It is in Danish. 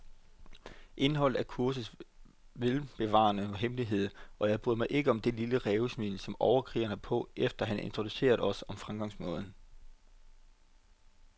Indholdet er kursets velbevarede hemmelighed, og jeg bryder mig ikke om det lille rævesmil, som overkrigeren har på, efter han har introduceret os om fremgangsmåden.